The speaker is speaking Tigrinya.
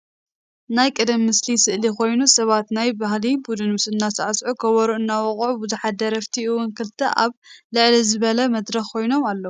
ናይ ቀደም ምስሊ ስእሊ ኮይኑ ሰባት ናይ ባህሊ ቡዱን እናሳዕስዑን ከበሮ እናወቅዑን ብዙሓት ደረፍቲ እዉን ክልተ ኣብ ልዕል ዝበለ መድረክ ኮይኖም ኣለዉ።